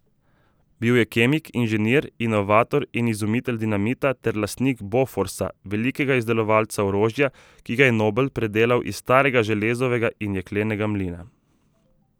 Bil je kemik, inženir, inovator in izumitelj dinamita ter lastnik Boforsa, velikega izdelovalca orožja, ki ga je Nobel predelal iz starega železovega in jeklenega mlina.